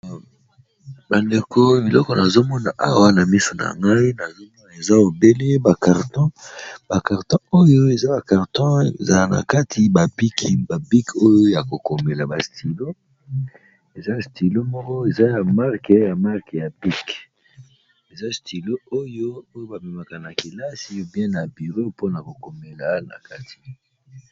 Ba ndeko biloko nazomona awa na miso na ngai na eza obele ba karton oyo eza ba karton ezala na kati ba biki ba biki oyo ya ko komela ba stilo, eza stilo moko eza ya marke ya marke ya piki, eza stilo oyo oyo ba memaka na kelasi où bien na bureau pona ko komela na kati.